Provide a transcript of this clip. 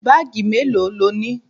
Báàgì melo lónìí?